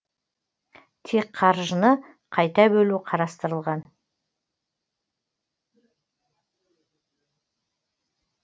тек қаржыны қайта бөлу қарастырылған